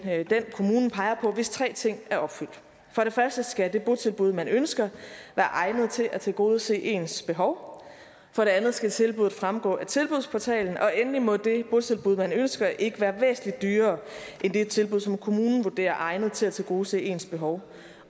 den kommunen peger på hvis tre ting er opfyldt for det første skal det botilbud man ønsker være egnet til at tilgodese ens behov for det andet skal tilbuddet fremgå af tilbudsportalen og endelig må det botilbud man ønsker ikke være væsentlig dyrere end det tilbud som kommunen vurderer egnet til at tilgodese ens behov